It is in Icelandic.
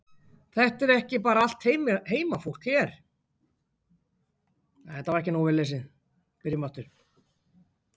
Þetta er ekki bara allt heimafólk hér?